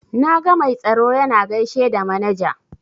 Na ga mai tsaro yana gaishe da manaja.